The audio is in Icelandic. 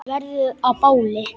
Verður að báli.